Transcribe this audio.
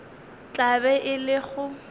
tla be e le go